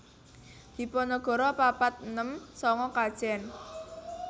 Diponegoro papat enem sanga Kajen